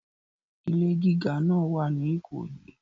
Ilé gíga náà wà ní Ìkòyí.